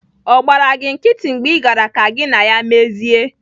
Ọ gbaara gị nkịtị mgbe Ị gaara ka gị na ya mezie?